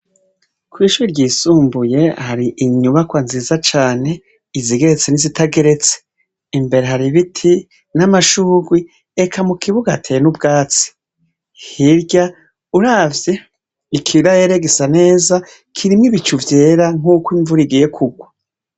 Kw’ishuri ryisumbuye hari inyubakwa nziza cane , izigeretse n’izitageretse. Imbere har’ibiti n’amashurwe, eka mukibuga hateye n’ubwatsi. Hirya uravye, ikirere gisa neza , kirimw’ibicu vyera nk’ukwimvura igiye kugwa.